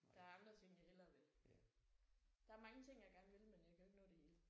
Der er andre ting jeg hellere vil. Der er mange ting jeg gerne vil men jeg kan jo ikke nå det hele